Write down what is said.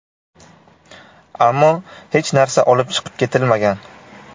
Ammo hech narsa olib chiqib ketilmagan.